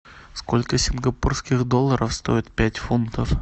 сколько сингапурских долларов стоит пять фунтов